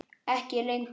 Ekki lengur.